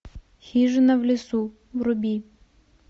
хижина в лесу вруби